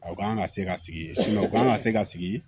U kan ka se ka sigi u kan ka se ka sigi